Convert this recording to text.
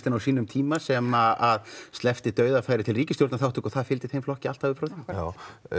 á sínum tíma sem að sleppti dauðafæri til ríkisstjórnarþáttöku og það fylgdi þeim flokki alltaf upp frá því já